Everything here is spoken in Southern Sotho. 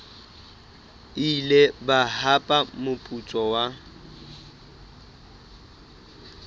ile ba hapa moputso wa